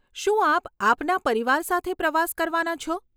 શું આપ આપના પરિવાર સાથે પ્રવાસ કરવાના છો?